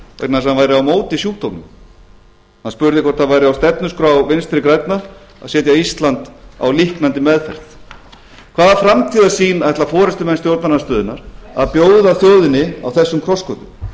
vegna þess að hann væri á móti sjúkdómnum hann spurði hvort það væri á stefnuskrá vinstri grænna að setja ísland á líknandi meðferð hvaða framtíðarsýn ætla forustumenn stjórnarandstöðunnar að bjóða þjóðinni á þessum krossgötum þeim finnst ef til vill